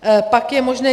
Pak je možné.